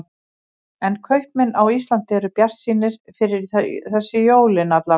Hjörtur: En kaupmenn á Íslandi eru bjartsýnir fyrir þessi jólin alla vega?